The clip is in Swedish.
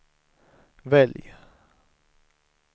välj